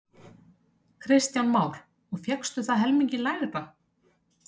Kristján Már: Og fékkstu það helmingi lægra?